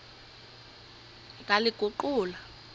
ndaliguqula